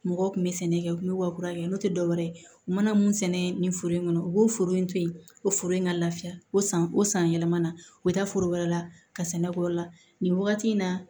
Mɔgɔw kun bɛ sɛnɛ kɛ u bɛ wakuya kɛ n'o tɛ dɔwɛrɛ ye u mana mun sɛnɛ nin foro in kɔnɔ u b'o foro in to yen ko foro in ka lafiya o san o san yɛlɛmana u bɛ taa foro wɛrɛ la ka sɛnɛ k'o yɔrɔ la nin wagati in na